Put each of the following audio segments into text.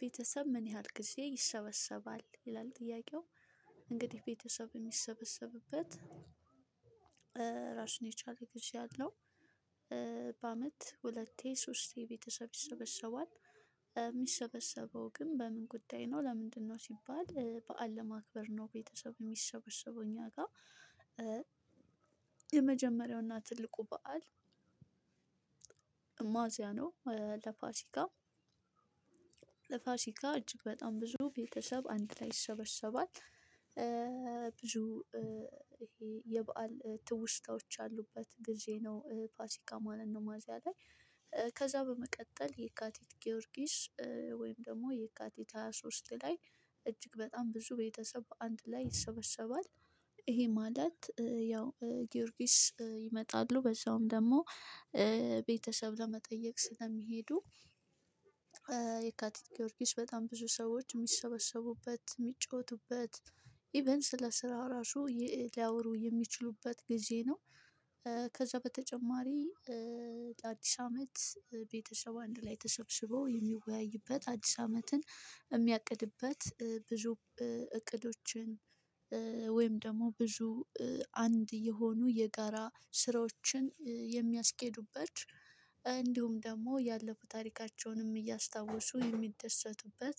ቤተሰብ? ምን ያህል ጊዜ ይሰበሰባል ይላል ጥያቄው እንግዲህ ቤተሰብ የሚሰበሰብበት ራሱን የቻለ ጊዜ አለው። ሁለቴ ሶስቴ ቤተሰብ ይሰበሰባል። የሚሰበሰበው ግን በምን ጉዳይ ነው? ለምንድነው ሲባል በዓል ለማክበር ነው። ቤተሰብ የሚሰበሰበው እኛ ጋር። የመጀመሪያውና ትልቁ በዓል ማዕዚያ ነው። ለፋሲካ ለፋሲካ እጅግ በጣም ብዙ ቤተሰብ አንድ ላይ ይሰበሰባል። ብዙ ይሄ የበአል ትውስታዎች ያሉበት ጊዜ ነው ፋሲካ ማለት ነው። ሚያዚያ ላይ ከዛ በመቀጠል የካቲት ጊዮርጊስ ወይም ደግሞ የካቲት ሃያ ሶስት ላይ እጅግ በጣም ብዙ ቤተሰብ አንድ ላይ ይሰበሰባል። ይሄ ማለት ያው ጊዮርጊስ ይመጣሉ በዛውም ደግሞ ቤተሰብ ለመጠየቅ ስለሚሄዱ። የካቲት ጊዮርጊስ በጣም ብዙ ሰዎች የሚሰበሰቡበት የሚጫወቱበት ኢቭን ስለ ስራ ራሱ ሊያወሩ የሚችሉበት ጊዜ ነው። ከዛ በተጨማሪ ለአዲስ አመት ቤተሰብ አንድ ላይ ተሰብስበው የሚወያይበት አዲስ አመትን የሚያቅድበት ብዙ እቅዶችን ወይም ደግሞ ብዙ አንድ የሆኑ የጋራ ስራዎችን የሚያስኬዱበት እንዲሁም ደግሞ ያለፉ ታሪካቸውንም እያስታወሱ የሚደሰቱበት።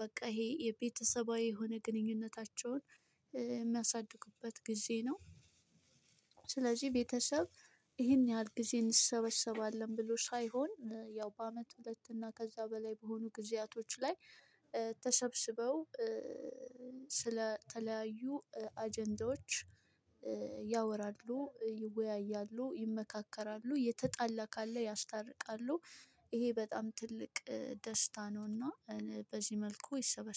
በቃ ይሄ የቤተሰባዊ የሆነ ግንኙነታቸውን የሚያሳድጉበት ጊዜ ነው። ስለዚህ ቤተሰብ ይሄን ያህል ጊዜ እንሰበሰባለን ብሎ ሳይሆን ያው በአመት ሁለትና ከዛ በላይ በሆኑ ጊዜያቶች ላይ ተሰብስበው ስለተለያዩ አጀንዳዎች ያወራሉ ይወያያሉ ይመካከራሉ የተጣላ ካለ ያስታርቃሉ። ይሄ በጣም ትልቅ ደስታ ነውና በዚህ መልኩ ይሰበሰባል